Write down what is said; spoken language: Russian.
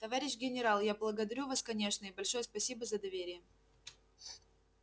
товарищ генерал я благодарю вас конечно и большое спасибо за доверие